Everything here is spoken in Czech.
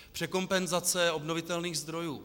Překompenzace obnovitelných zdrojů.